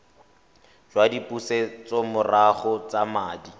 jwa dipusetsomorago tsa madi a